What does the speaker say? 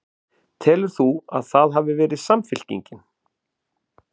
Guðný: Telur þú að það hafi verið Samfylkingin?